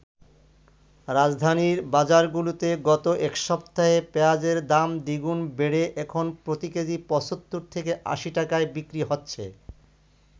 রাজধানীর বাজারগুলোতে গত এক সপ্তাহে পেঁয়াজের দাম দ্বিগুণ বেড়ে এখন প্রতি কেজি ৭৫ থেকে ৮০ টাকায় বিক্রি হচ্ছে।